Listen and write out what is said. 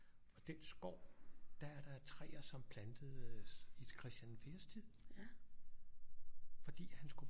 Og den skov der er der træer som plantedes i Christian den fjerdes tid fordi han skulle